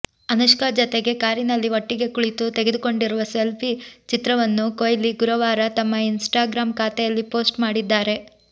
ಅನುಷ್ಕಾ ಜತೆಗೆ ಕಾರಿನಲ್ಲಿ ಒಟ್ಟಿಗೆ ಕುಳಿತು ತೆಗೆದುಕೊಂಡಿರುವ ಸೆಲ್ಫಿ ಚಿತ್ರವನ್ನು ಕೊಹ್ಲಿ ಗುರುವಾರ ತಮ್ಮ ಇನ್ಸ್ಟಾಗ್ರಾಮ್ ಖಾತೆಯಲ್ಲಿ ಪೋಸ್ಟ್ ಮಾಡಿದ್ದಾರೆ